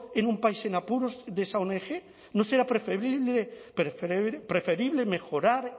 a un país en apuros de esa ong no será preferible mejorar